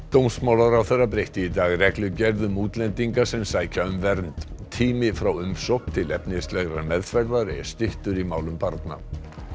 dómsmálaráðherra breytti í dag reglugerð um útlendinga sem sækja um vernd tími frá umsókn til efnislegrar meðferðar er styttur í málum barna